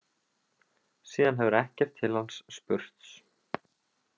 Síðan hefur ekkert til hans spurst.